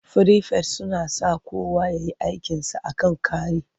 Firifet suna saka kowa ya yi aikinsa a kan kari.